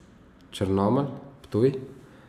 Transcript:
Črnomelj, Ptuj.